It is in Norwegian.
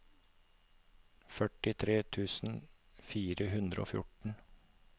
førtitre tusen fire hundre og fjorten